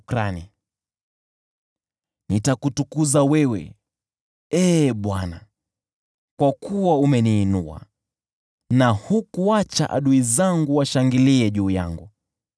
Nitakutukuza wewe, Ee Bwana , kwa kuwa umeniinua kutoka vilindi, na hukuacha adui zangu washangilie juu yangu.